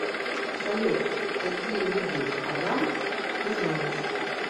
салют какие виды адам ты знаешь